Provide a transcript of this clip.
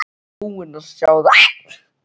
Hún var búin að sjá þetta!